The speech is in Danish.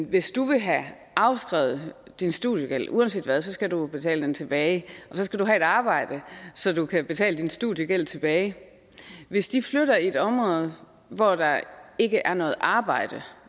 hvis du vil have afskrevet din studiegæld uanset hvad så skal du jo betale den tilbage og så skal du have et arbejde så du kan betale din studiegæld tilbage hvis de flytter til et område hvor der ikke er noget arbejde